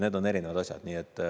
Need on erinevad asjad.